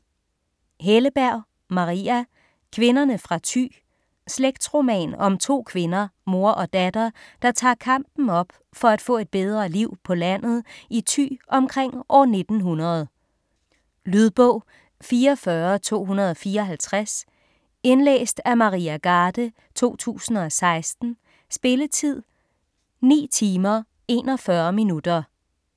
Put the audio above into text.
Helleberg, Maria: Kvinderne fra Thy Slægtsroman om to kvinder, mor og datter, der tager kampen op for at få et bedre liv på landet i Thy omkring år 1900. Lydbog 44254 Indlæst af Maria Garde, 2016. Spilletid: 9 timer, 41 minutter.